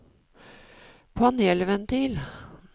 panelventil